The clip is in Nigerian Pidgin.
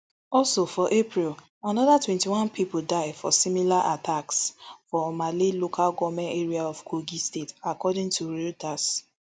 also for april anoda twenty-one pipo die for similar attacks for omala local goment area of kogi state according toreuters